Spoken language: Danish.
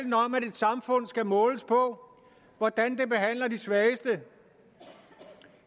samfund skal måles på hvordan det behandler de svageste